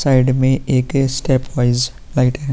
Side में एक step wise लाइटे है।